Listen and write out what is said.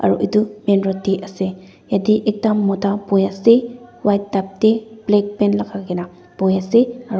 edu main road tae ase yatae ekta mota boiase white tup tae black pant lagakaena bohiase aro--